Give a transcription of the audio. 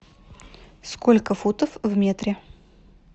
сколько футов в метре